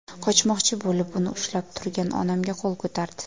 Qochmoqchi bo‘lib, uni ushlab turgan onamga qo‘l ko‘tardi.